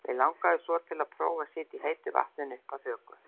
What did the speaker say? Mig langaði svo til að prófa að sitja í heitu vatninu upp að höku.